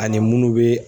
Ani munnu bɛ